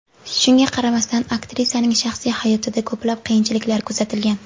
Shunga qaramasdan aktrisaning shaxsiy hayotida ko‘plab qiyinchiliklar kuzatilgan.